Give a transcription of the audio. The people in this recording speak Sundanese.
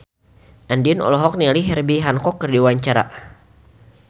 Andien olohok ningali Herbie Hancock keur diwawancara